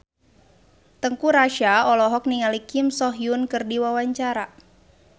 Teuku Rassya olohok ningali Kim So Hyun keur diwawancara